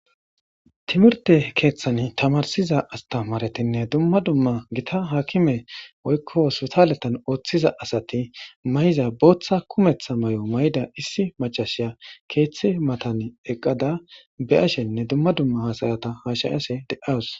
Timmirtte keththan tamarsiza astamaretinne dumma dumma gita hakime woykko hossipitaletan oththiza asati mayiza booththa kumeththa mayyida issi maccashiya keththa mattan eqqada be'ashene dumma dumma hasa'ata has'ashe de'awusu.